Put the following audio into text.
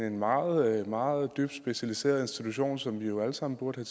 en meget meget dybt specialiseret institution som vi jo alle sammen burde